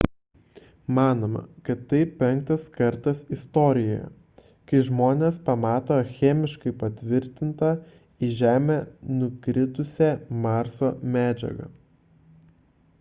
manoma kad tai penktas kartas istorijoje kai žmonės pamato chemiškai patvirtintą į žemę nukritusią marso medžiagą